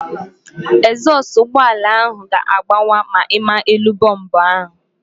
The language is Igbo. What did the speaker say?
Egzọsụ ụgbọala ahụ ga-agbawa ma ịma elu bọmbu ahụ